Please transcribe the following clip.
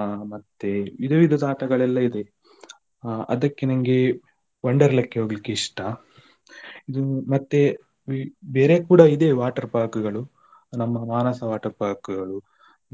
ಅ ಮತ್ತೆ ವಿಧ ವಿಧದ ಆಟಗಳೆಲ್ಲಾ ಇದೆ ಹ ಅದಕ್ಕೆ ನನ್ಗೆ Wonderla ಕ್ಕೆ ಹೋಗ್ಲಿಕ್ಕೆ ಇಷ್ಟ ಇದು ಮತ್ತೆ ಬೇರೆ ಕೂಡ ಇದೆ water park ಗಳು ನಮ್ಮ Manasa water park ಗಳು